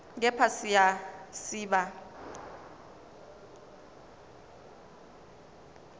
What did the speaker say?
kepha siya siba